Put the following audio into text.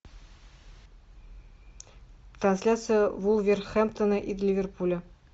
трансляция вулверхэмптона и ливерпуля